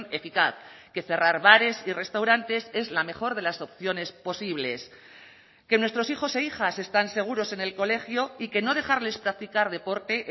eficaz que cerrar bares y restaurantes es la mejor de las opciones posibles que nuestros hijos e hijas están seguros en el colegio y que no dejarles practicar deporte